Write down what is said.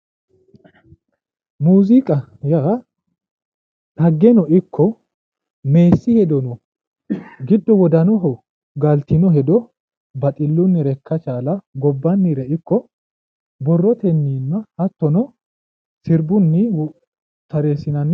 muziiqa yaa xaggeno ikko meessi hedono giddo wodanaho galtino hedo baxillunire ikka chaalanno gobbannire ikko borrotennino hattono sirbunni tareessinanni.